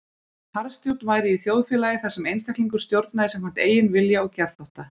Harðstjórn væri í þjóðfélagi þar sem einstaklingur stjórnaði samkvæmt eigin vilja og geðþótta.